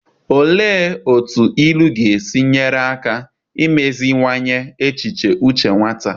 Olee otú ilu ga-esi nyere aka imeziwanye echiche uche nwata?